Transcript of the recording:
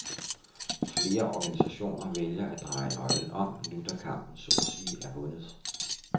Flere organisationer vælger at dreje nøglen om, nu da kampen så at sige er vundet.